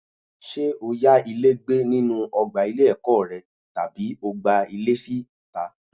Ṣé o yá ilé gbé nínú ọgbà ilé-ẹ̀kọ́ rẹ tàbí o gba ilé síta?